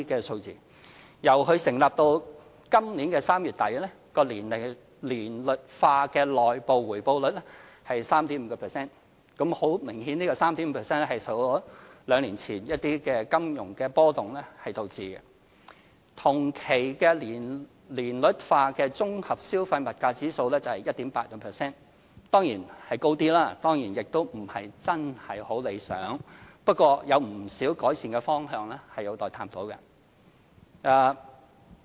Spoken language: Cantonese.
強積金由成立至今年3月底，年率化的內部回報率是 3.5%， 很明顯，這 3.5% 是因為兩年前一些金融波動所導致；同期的年率化綜合消費物價指數是 1.8%， 強積金回報率當然較高一點，也不是真的很理想，不過有不少改善的方向是有待探討的。